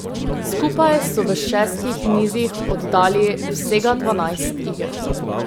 Skupaj so v šestih nizih oddali vsega dvanajst iger.